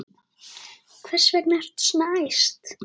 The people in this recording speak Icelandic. Hvers vegna ertu svona æst?